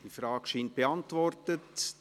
Diese Frage scheint beantwortet.